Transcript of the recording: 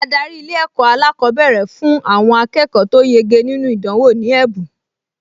Adarí Ilé-ẹ̀kọ́ alákọ̀ọ́bẹ̀rẹ̀ fún àwọn akẹ́kọ̀ọ tó yege nínú ìdánwò ní ẹ̀bùn